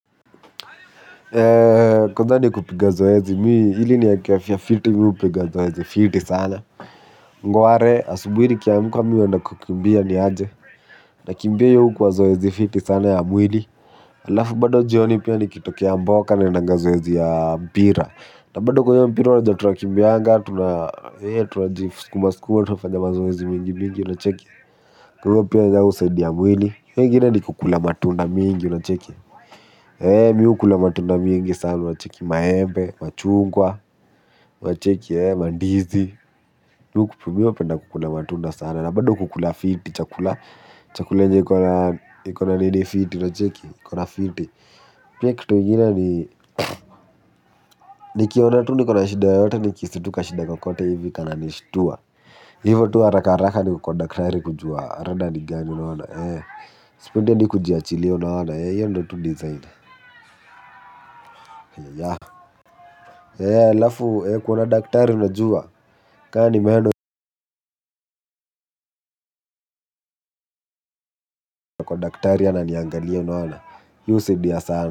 Eee kwanza ni kupiga zoezi mi ili nieke afya fiti mi hupiga zoezi fiti sana Ngware asubuhi nikiamka mi huenda kukimbia niaje. Nakimbia hiyo hukuwa zoezi fiti sana ya mwili alafu bado jioni pia nikitokea mboka naendanga zoezi ya mpira na bado kwa hiyo mpira wajajua tunakimbianga tunaa eee tuwa tunajiskumaskuma tunafanya mazoezi mingi mingi unacheki kwa hivo pia nayo husaidi ya mwili hiyo igine ni kukula matunda mingi unacheki. Mi ukula matunda mingi sana unacheki maembe, machungwa, unacheki ee mandizi. Mimi hupenda kukula matunda sana na bado kukula fiti chakula. Chakule yenye ikona nini fiti unacheki, ikona fiti. Pia kitu ingine nikiona tu nikona shida yoyote nihisi tu kashida kakote hivi kana nishtua. Hivo tu haraharaka niko kwa daktari kujua rada ni gani unaona ee. Sipendi adi kujiachilia unaona ee hiyo ndio tu design haiyaya ee alafu kuona daktari unajua ka ni meno daktari ananiangalia unaona hiyo hisaidia sanaa.